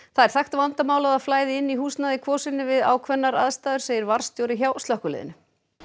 það er þekkt vandamál að það flæði inn í húsnæði í Kvosinni við ákveðnar aðstæður segir varðstjóri hjá slökkviliðinu